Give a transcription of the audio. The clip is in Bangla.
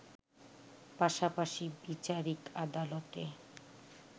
পাশাপাশি বিচারিক আদালতে